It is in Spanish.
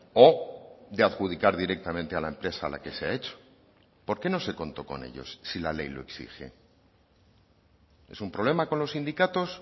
o de adjudicar directamente a la empresa a la que se ha hecho por qué no se contó con ellos si la ley lo exige es un problema con los sindicatos